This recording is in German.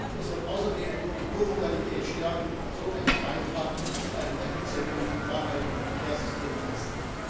Es wird außerdem die Ko Modalität stärken und so einen Beitrag zu einem effizienten und nachhaltigen Verkehrssystem leisten.